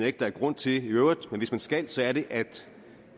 ikke der er grund til i øvrigt men hvis man skal så er det at